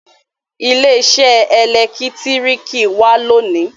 ile-iṣẹ elekitiriki wá lóni.